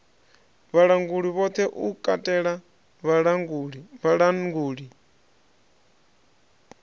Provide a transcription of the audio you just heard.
vhalanguli vhoṱhe u katela vhalanguli